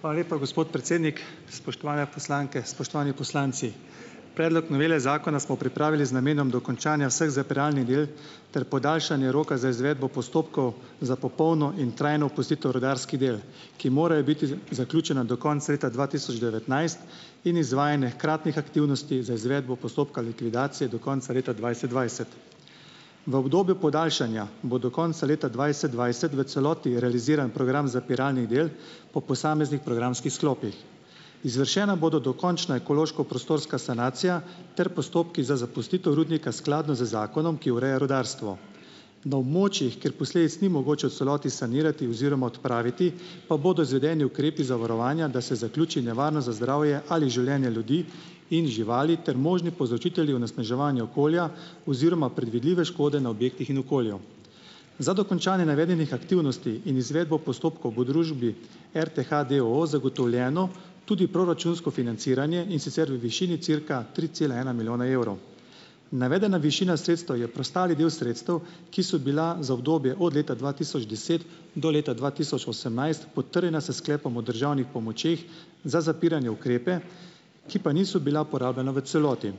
Hvala lepa, gospod predsednik! Spoštovane poslanke, spoštovani poslanci! Predlog novele zakona smo pripravili z namenom dokončanja vseh zapiralnih del ter podaljšanja roka za izvedbo postopkov za popolno in trajno opustitev rudarskih del, ki morajo biti zaključena do konca leta dva tisoč devetnajst in izvajanje hkratnih aktivnosti za izvedbo postopka likvidacije do konca leta dvajset dvajset. V obdobju podaljšanja, bo do konca leta dvajset dvajset v celoti realiziran program zapiralnih del po posameznih programskih sklopih. Izvršena bodo dokončna ekološko- prostorska sanacija ter postopki za zapustitev rudnika, skladno z zakonom, ki ureja rudarstvo. Na območjih, kjer posledic ni mogoče v celoti sanirati oziroma odpraviti, pa bodo izvedeni ukrepi zavarovanja, da se zaključi nevarnost za zdravje ali življenje ljudi in živali ter možni povzročitelji onesnaževanja okolja oziroma predvidljive škode na objektih in okolju. Za dokončanje navedenih aktivnosti in izvedbo postopkov bo družbi RTH d. o. o. zagotovljeno tudi proračunsko financiranje, in sicer v višini cirka tri cela ena milijona evrov. Navedena višina sredstev je preostali del sredstev, ki so bila za obdobje od leta dva tisoč deset do leta dva tisoč osemnajst potrjena s sklepom o državnih pomočeh za zapiranje ukrepe, ki pa niso bila porabljena v celoti.